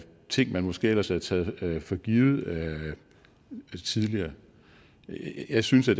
ting man måske ellers havde taget for givet tidligere jeg synes at